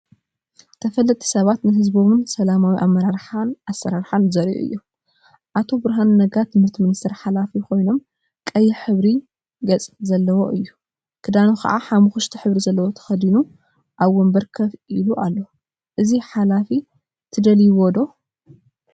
ተፈለጥቲ ሰባት ተፈለጥቲ ሰባት ንህዝቦም ሰላማዊ አመራርሓን አሰራርሓን ዘርአዩ እዮም፡፡ አቶ ብርሃኑ ነጋ ትምህርት ሚኒስቴር ሓላፊ ኮይኖም፤ ቀይሕ ሕብሪ ገፅ ዘለዎ እዩ፡፡ ክዳኑ ከዓ ሓመኩሽቲ ሕብሪ ዘለዎ ተከዲኑ አብ ወንበር ኮፍ ኢሉ አሎ፡፡ እዚ ሓላፊ ትደልይዎ ዶ?